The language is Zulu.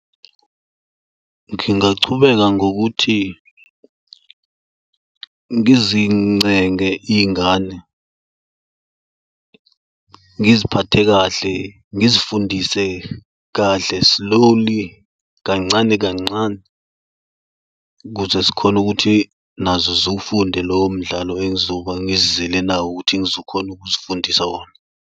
Ngingachubeka ngokuthi ngizincenge iy'ngane, ngiziphathe kahle, ngizifundise kahle slowly, kancane kancane, ukuze zikhone ukuthi nazo ziwufunde lowo mdlalo engizoba ngizizele nawe ukuthi ngizokhona ukuzifundisa wona.